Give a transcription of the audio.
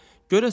salavat çevir.